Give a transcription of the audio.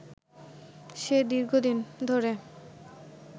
সে দীর্ঘদিন ধরে